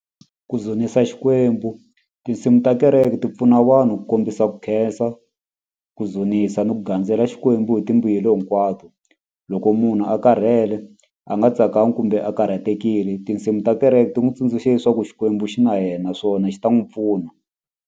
Ku dzunisa xikwembu tinsimu ta kereke ti pfuna vanhu ku kombisa ku khensa ku dzunisa ni ku gandzela xikwembu hi timbuyelo hinkwato loko munhu a karhele a nga tsakangi kumbe a karhatekile tinsimu ta kereke ti n'wi tsundzuxa leswaku xikwembu xi na yena naswona xi ta n'wi pfuna.